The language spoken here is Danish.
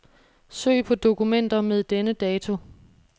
Søg på dokumenter med denne dato.